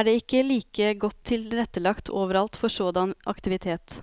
er det ikke like godt tilrettelagt overalt for sådan aktivitet.